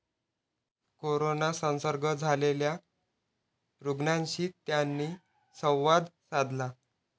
Corona संसर्ग झालेल्या रूग्णांशी त्यांनी संवाद साधला.